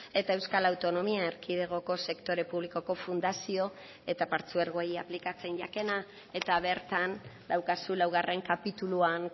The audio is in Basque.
eta euskal autonomia erkidegoko sektore publikoko fundazio eta partzuergoei aplikatzen jakena eta bertan daukazu laugarren kapituluan